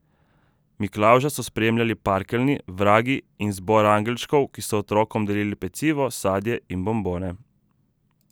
Miklavža so spremljali parkeljni, vragi in zbor angelčkov, ki so otrokom delili pecivo, sadje in bombone.